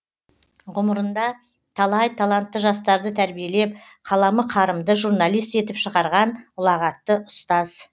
ғұмырында талай талантты жастарды тәрбиелеп қаламы қарымды журналист етіп шығарған ұлағатты ұстаз